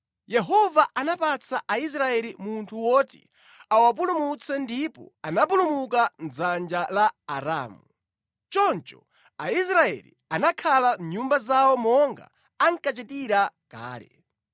Yehova anapatsa Aisraeli munthu woti awapulumutse ndipo anapulumuka mʼdzanja la Aramu. Choncho Aisraeli anakhala mʼnyumba zawo monga ankachitira kale.